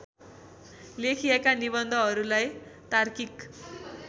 लेखिएका निबन्धहरूलाई तार्किक